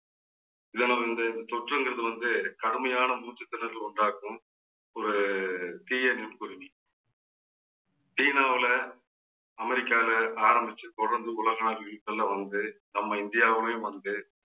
இதனால் இந்த தொற்றுங்கிறது வந்து கடுமையான மூச்சுத்திணறலை உண்டாக்கும். ஒரு தீய சீனாவுல அமெரிக்கால ஆரம்பிச்சு தொடர்ந்து உலக நாடுகளுக்கு எல்லாம் வந்து நம்ம இந்தியாவிலேயும் வந்து